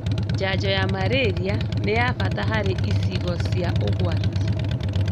Njanjo ya Marĩria nĩ ya bata harĩ icigo cia ũgwati